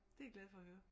Det er jeg glad for at høre